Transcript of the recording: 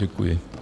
Děkuji.